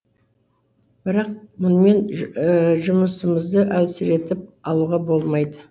бірақ мұнымен жұмысымызды әлсіретіп алуға болмайды